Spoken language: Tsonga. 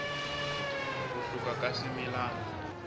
ku hluka ka swimilana